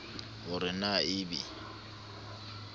ho re na e be